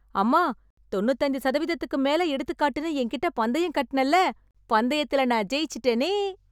அம்மா... தொண்ணுது அஞ்சு சதவிகிதத்துக்கு மேல எடுத்துக்காட்டுன்னு என்கிட்ட பந்தயம் கட்டுனேல்ல... பந்தயத்துல நான் ஜெயிச்சுட்டேனே...